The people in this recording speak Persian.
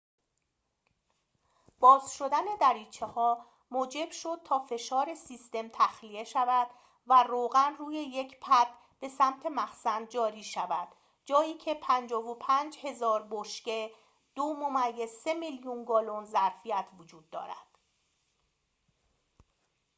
باز شدن دریچه‌ها موجب شد تا فشار سیستم تخلیه شود و روغن روی یک پد به سمت مخزن جاری شود، جایی که 55000 بشکه 2.3 میلیون گالن ظرفیت وجود دارد